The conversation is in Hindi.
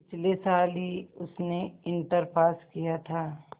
पिछले साल ही उसने इंटर पास किया था